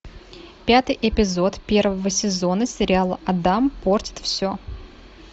пятый эпизод первого сезона сериала адам портит все